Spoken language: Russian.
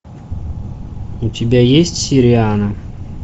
у тебя есть сириана